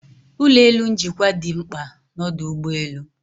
Ulọ elu njikwa dị mkpa na ọdụ ụgbọ elu